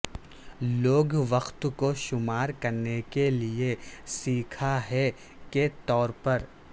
لوگ وقت کو شمار کرنے کے لئے سیکھا ہے کے طور پر